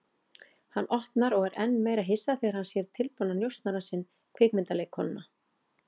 Hann opnar og er enn meira hissa þegar hann sér tilbúna njósnarann sinn, kvikmyndaleikkonuna.